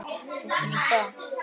Vissirðu það?